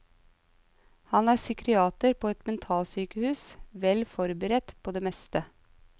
Han er psykiater på et mentalsykehus, vel forberedt på det meste.